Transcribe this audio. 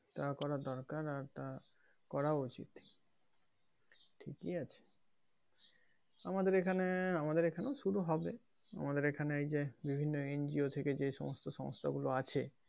তা করা দরকার আর তা করাও উচিৎ ঠিকই আছে আমাদের এখানে আমাদের এখানেও শুরু হবে আমাদের এখানে এইযে বিভিন্ন NGO থেকে যে সমস্ত সংস্থা গুলো আছে,